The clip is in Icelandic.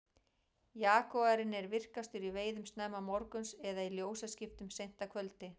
jagúarinn er virkastur í veiðum snemma morguns eða í ljósaskiptum seint að kvöldi